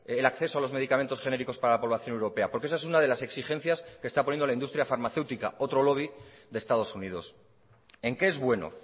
el acceso a los medicamentos genéricos para la población europea porque esa es una de las exigencias que está poniendo la industria farmacéutica otro lobby de estados unidos en qué es bueno